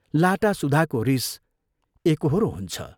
लाटासुधाको रीस एकोहोरो हुन्छ।